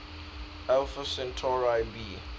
alpha centauri b